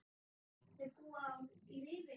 Þau búa í Rifi.